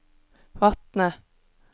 Vatne